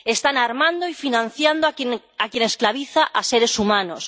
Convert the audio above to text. Están armando y financiando a quien esclaviza a seres humanos.